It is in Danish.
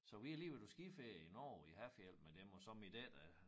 Så vi har lige været på skiferie i Norge i Hafjell med dem og så min datter